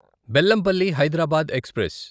Bellampalli Hyderabad express